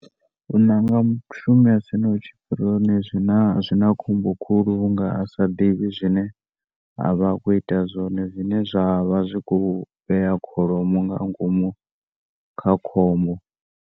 U ṋanga mushumi asina tshipirioni zwina khombo khulu vhunga asa ḓivhi zwine a vha khou ita zwone zwine zwa vha zwi khou vhea kholomo nga ngomu kha khombo.